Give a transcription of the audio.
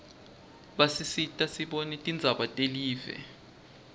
basisita kutsi sibone tindzaba telive